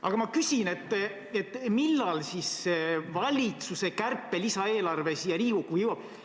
Aga ma küsin, millal valitsuse kärpe-eelarve siia Riigikokku jõuab.